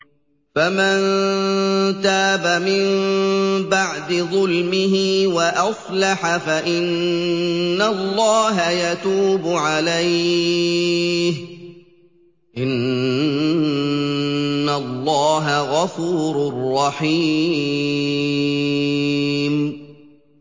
فَمَن تَابَ مِن بَعْدِ ظُلْمِهِ وَأَصْلَحَ فَإِنَّ اللَّهَ يَتُوبُ عَلَيْهِ ۗ إِنَّ اللَّهَ غَفُورٌ رَّحِيمٌ